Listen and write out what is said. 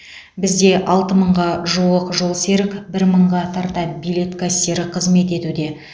бізде алты мыңға жуық жолсерік бір мыңға тарта билет кассирі қызмет етуде